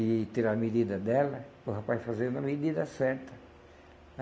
e tirar a medida dela para o rapaz fazer na medida certa.